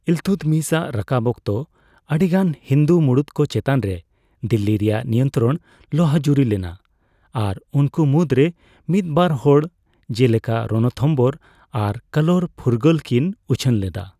ᱤᱞᱛᱩᱛᱢᱤᱥ ᱟᱜ ᱨᱟᱠᱟᱵ ᱚᱠᱛᱚ, ᱟᱰᱤᱜᱟᱱ ᱦᱤᱱᱫᱩ ᱢᱩᱲᱩᱛ ᱠᱚ ᱪᱮᱛᱟᱱ ᱨᱮ ᱫᱤᱞᱞᱤ ᱨᱮᱭᱟᱜ ᱱᱤᱭᱚᱱᱛᱨᱚᱱ ᱞᱚᱦᱚᱡᱩᱨᱤ ᱞᱮᱱᱟ ᱟᱨ ᱩᱱᱠᱩ ᱢᱩᱫᱨᱮ ᱢᱤᱫᱵᱟᱨ ᱦᱚᱲ ᱡᱮᱞᱮᱠᱟ ᱨᱚᱱᱛᱷᱚᱢᱵᱷᱳᱨ ᱟᱨ ᱠᱟᱞᱳᱨ ᱯᱷᱩᱨᱜᱟᱹᱞ ᱠᱤᱱ ᱩᱪᱷᱟᱹᱱ ᱞᱮᱫᱟ ᱾